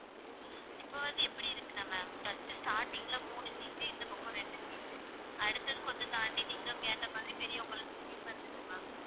இப்ப வந்து எப்படி இருக்குன்னா ma'am இப்ப first starting ல மூணு seat இந்தப் பக்கம் ரெண்டு seat அடுத்தது, கொஞ்சம் தாண்டி நீங்க கேட்ட மாதிரி பெரியவங்களுக்கு sleeper இருக்கு ma'am